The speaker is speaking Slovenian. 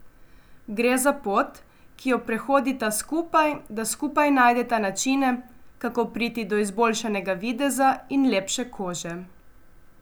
Gre za pot, ki jo prehodita skupaj, da skupaj najdeta načine, kako priti do izboljšanega videza in lepše kože.